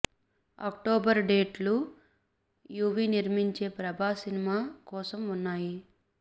October date లు UV నిర్మించే Prabhas cinema కోసం వున్నాయి